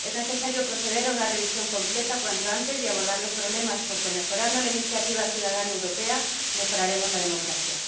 Es necesario proceder a una revisión completa cuanto antes y abordar los problemas, porque mejorando la iniciativa ciudadana europea mejoraremos la democracia.